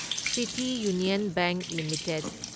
city Union Bank limited